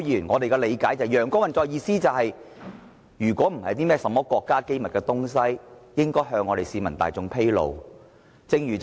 我們所理解的"陽光運作"是，如果有關資料並非國家機密，便應向市民大眾披露。